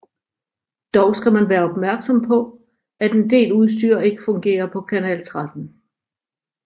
Dog skal man være opmærksom på at en del udstyr ikke fungere på kanal 13